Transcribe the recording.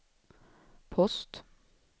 post